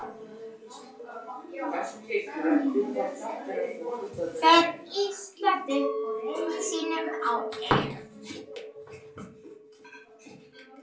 Fer Ísland upp úr riðli sínum á EM?